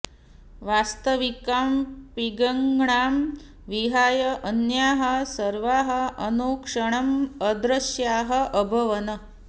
वास्तविकां पिङ्गळां विहाय अन्याः सर्वाः अनुक्षणम् अदृश्याः अभवन्